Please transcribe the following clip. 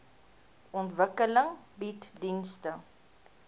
ontwikkeling bied dienste